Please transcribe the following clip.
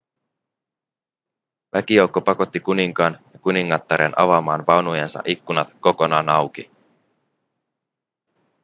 väkijoukko pakotti kuninkaan ja kuningattaren avaamaan vaunujensa ikkunat kokonaan auki